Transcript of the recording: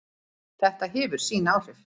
Þetta hefur sín áhrif.